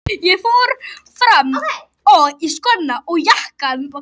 Ég fór fram og í skóna og jakkann.